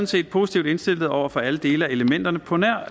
set positivt indstillet over for alle dele af elementerne på nær